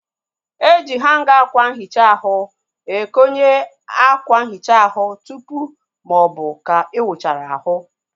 E ji hanga akwa nhicha ahu ekonye akwa nhicha ahụ tụpụ maọbụ ka ị wuchara ahu